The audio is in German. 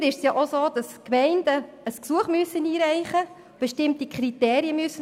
Im Weiteren müssen die Gemeinden ein Gesuch einreichen und bestimmte Kriterien erfüllen.